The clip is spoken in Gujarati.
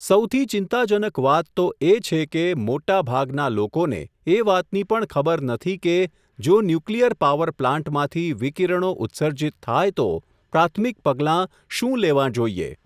સૌથી ચિંતાજનક વાત તો એ છે કે, મોટાભાગના લોકોને, એ વાતની પણ ખબર નથી કે, જો ન્યુક્લિયર પાવર પ્લાન્ટમાંથી, વિકીરણો ઉત્સર્જિત થાય તો, પ્રાથમિક પગલાં શું લેવા જોઈએ?.